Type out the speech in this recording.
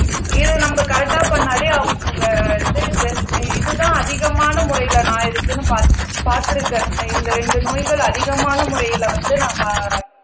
இதை நம்ம கரெக்ட்டா பண்ணாலே அவங்க இது ஜென் அஹ் இதுதான் அதிகமான முறையில நான் இருக்குன்னு பாத் பாத்திருக்கேன் இந்த இரண்டு நோய்கள் அதிகமான முறையில வந்து நான் பா